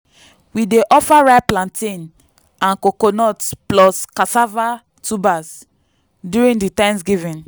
we dey offer ripe plantain and coconut plus cassava tubers during di thanksgiving.